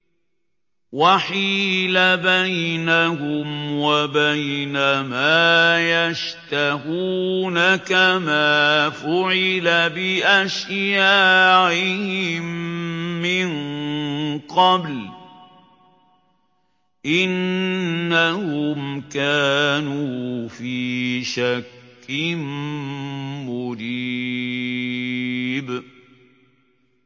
وَحِيلَ بَيْنَهُمْ وَبَيْنَ مَا يَشْتَهُونَ كَمَا فُعِلَ بِأَشْيَاعِهِم مِّن قَبْلُ ۚ إِنَّهُمْ كَانُوا فِي شَكٍّ مُّرِيبٍ